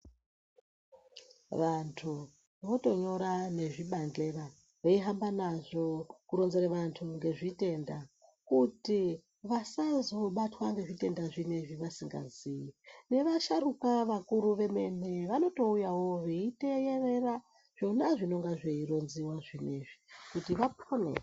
Vantu votonyora nezvibandhlera veihamba nazvo kuronzere vantu ngezvitenda kuti vasazobatwa ngezvitenda zvinezvi vasingaziyi. Nevasharukwa vakuru vemene vanotouyawo veiteyerera zvona zvinonga zveironziwa zvinezvi kuti vapone.